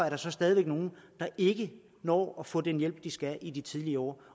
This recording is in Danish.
er stadig væk nogle der ikke når at få den hjælp de skal have i de tidlige år